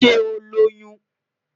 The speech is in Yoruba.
Ṣe o Loyun?